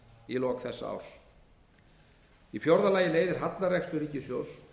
í lok þessa árs í fjórða lagi leiðir hallarekstur ríkissjóðs